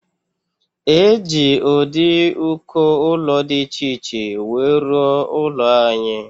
Eji ụdị uko ụlọ dị iche iche wee rụo ụlọ anyị.